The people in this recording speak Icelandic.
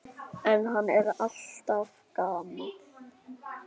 En hann er alltaf gamall.